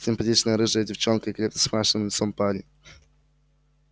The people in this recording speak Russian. симпатичная рыжая девчонка и крепкий с мрачным лицом парень